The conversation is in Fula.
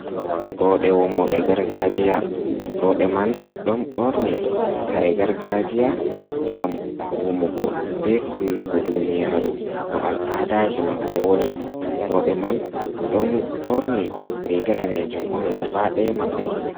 Roɓe wamooɓe gargajiya, roɓe man ɗon ɓorni kare gargajiya, ngam wamugo be hollugo duniyaru no al'adaji maɓɓe woni, roɓe man ɗon ɓorni riga daneejum on gabaa daya maɓɓe.